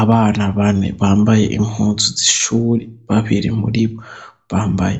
Abana bane bambaye impuzu z' ishuri, babiri muri bo bambaye